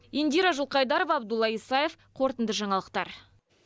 индира жылқайдарова абдолла исаев қорытынды жаңалықтар